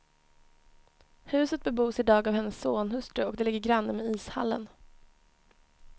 Huset bebos i dag av hennes sonhustru och det ligger granne med ishallen.